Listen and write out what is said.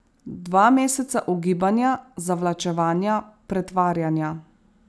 Dva meseca ugibanja, zavlačevanja, pretvarjanja.